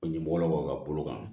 O ɲɛmɔgɔlakaw ka bolo kan